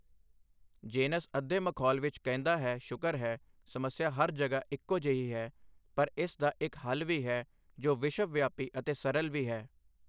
Jens ਅੱਧੇ ਮਖੌਲ ਵਿੱਚ ਕਹਿੰਦਾ ਹੈ ਸ਼ੁਕਰ ਹੈ, ਸਮੱਸਿਆ ਹਰ ਜਗ੍ਹਾ ਇੱਕੋ ਜਿਹੀ ਹੈ, ਪਰ ਇਸ ਦਾ ਇੱਕ ਹੱਲ ਵੀ ਹੈ ਜੋ ਵਿਸ਼ਵਵਿਆਪੀ ਅਤੇ ਸਰਲ ਵੀ ਹੈ।